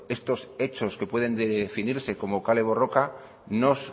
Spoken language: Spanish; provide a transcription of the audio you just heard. estos hechos que pueden definirse como kale borroka nos